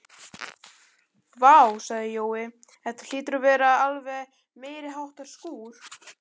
Vá sagði Jói, þetta hlýtur að vera alveg meiriháttar skúr